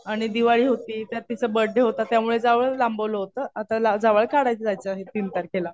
आणि दिवाळी होती. त्यात तीच बर्थडे होता. त्यामुळे जावळ लांबवलं होतं. आता जावळ काढायला जायचं आहे तीन तारखेला.